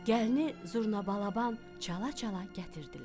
Gəlini zurnabalaban çala-çala gətirdilər.